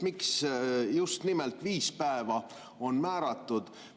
Miks just nimelt viis päeva on määratud?